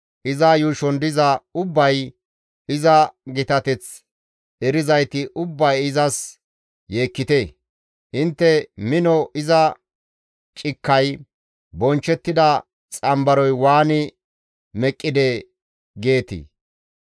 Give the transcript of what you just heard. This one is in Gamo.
Iza yuushon diza ubbay iza gitateth erizayti ubbay izas yeekkite; intte, ‹Mino iza cikkay, bonchchettida xanbaroy waani meqqidee?› giite.